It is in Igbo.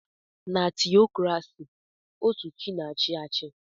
Na tiokrasi otú chi na-achị achị.